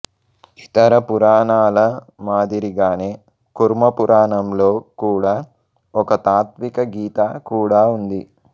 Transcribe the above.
ఇతర పురాణాల మాదిరిగానే కుర్మ పురాణంలో కూడా ఒక తాత్విక గీత కూడా ఉంది